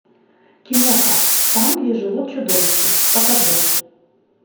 киноха там где живут чудовища покажи